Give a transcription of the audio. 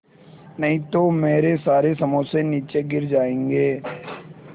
नहीं तो मेरे सारे समोसे नीचे गिर जायेंगे